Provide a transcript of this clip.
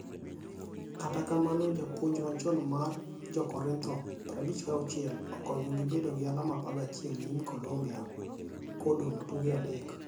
Kata kamano jpuonj machon mar Jokorintho, 56, okonyogi bedo gi alama 11 nyim Colombia kodong' tuke adek.